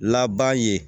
Laban ye